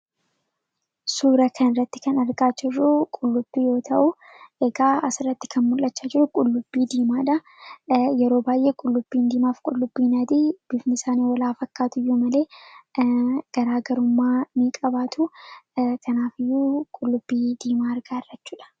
Suura kanarratti kan argaa jirru qullubbii yoo ta’u, egaa asirratti mul'achaa kan jiru qullubbii diimaadha. Yeroo baay'ee qullubbiin diimaa fi adiin bifni isaanii wal jaa fakkaatuyyuu malee garaagarummaa ni qabaatu. Kanaafiyyuu qullubbii diimaa argaa jirra jechuudha.